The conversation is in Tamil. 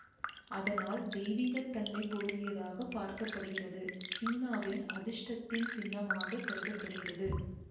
அதனால்தெய்வீகத் தன்மை பொருந்தியதாக பார்க்க படுகிறது சீனாவில் அதிர்ஷ்டத்தின் சின்னமாக கருத படுகிறது